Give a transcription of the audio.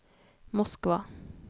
Moskva